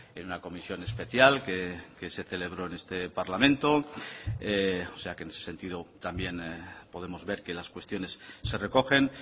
en una comisión especial que se celebró en este parlamento o sea que en ese sentido también podemos ver que las cuestiones se recogen